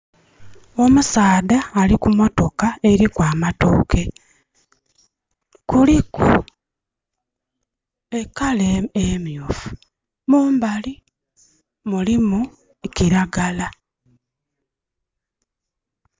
Omusaadha ali ku motoka eliku amatooke. Kuliku e colour emyuufu. Mumbali mulimu kiragala.